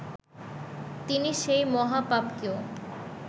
তিনি সেই মহাপাপকেও